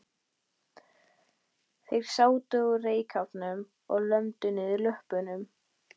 Þeir sátu á reykháfnum og lömdu niður löppunum.